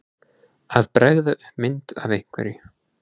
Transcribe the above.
Að bregða upp mynd af einhverju